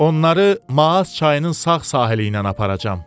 Onları Maas çayının sağ sahili ilə aparacam.